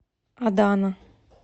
адана